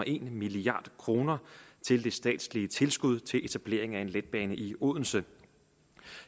en milliard kroner til det statslige tilskud til etablering af en letbane i odense